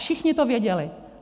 Všichni to věděli.